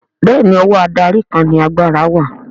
Bẹ́ẹ̀ni ọwọ́ adarí kan ni agbára wà